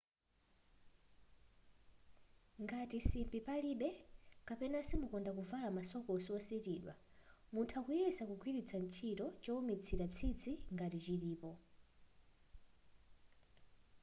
ngati simbi palibe kapena simukonda kuvala ma sokosi ositidwa mutha kuyesa kugwiritsa ntchito choumitsira tsitsi ngati chilipo